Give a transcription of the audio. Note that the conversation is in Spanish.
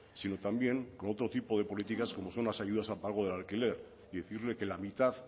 sino también con otro tipo de políticas como son las ayudas al pago del alquiler y decirle que la mitad de